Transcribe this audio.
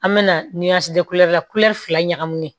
An bɛna ni da kulɛri la fila ɲagaminen